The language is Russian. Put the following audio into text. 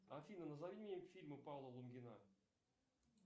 афина назови мне фильмы павла лунгина